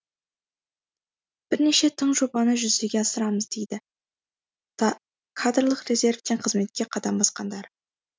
бірнеше тың жобаны жүзеге асырамыз дейді кадрлық резервтен қызметке қадам басқандар